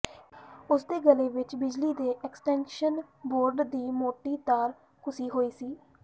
ਉਸ ਦੇ ਗਲੇ ਵਿਚ ਬਿਜਲੀ ਦੇ ਐਕਸਟੈਂਸ਼ਨ ਬੋਰਡ ਦੀ ਮੋਟੀ ਤਾਰ ਕੱਸੀ ਹੋਈ ਸੀ